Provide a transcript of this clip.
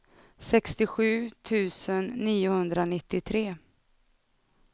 sextiosju tusen niohundranittiotre